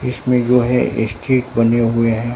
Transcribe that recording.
इसमें जो है स्ट्रीट बने हुए हैं।